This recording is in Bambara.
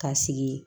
Ka sigi